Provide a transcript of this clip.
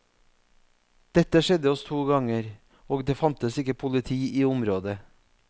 Dette skjedde oss to ganger, og det fantes ikke politi i området.